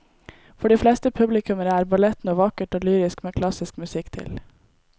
For de fleste publikummere er ballett noe vakkert og lyrisk med klassisk musikk til.